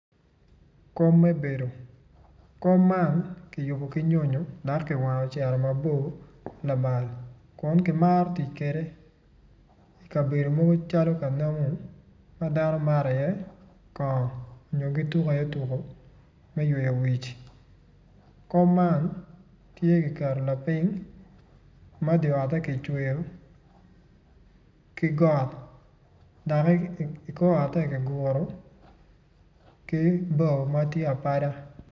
Kom me bedo kom man kiyubo ki nyonyo dok kiwango ocito mabor lamal kun kimaro tic kwede ikabedo mogo calo ka namo ma dano mato iye kono kun kituko iye tuko me yweyo wic kom man tye kiketo lapiny ma di otte kicweyo ki got dok ikor otte kiguro ki bao ma tye apada.